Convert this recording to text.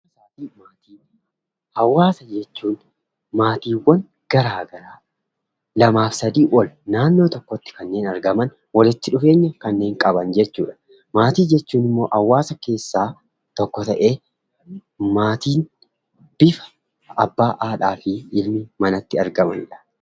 Hawaasa jechuun maatiiwwan garaa garaa lamaa fi isaa ol ta'anii naannoo tokkotti kanneen argaman, wallitti dhufeenya kanneen qaban jechuudha. Maatii jechuun immoo hawaasa keessaa tokko ta'ee abbaa, haadha, ilmaa fi hintala ta'uun mana tokko keessatti kanneen argamanidha.